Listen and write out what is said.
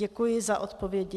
Děkuji za odpovědi.